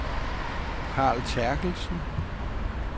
Carl Terkelsen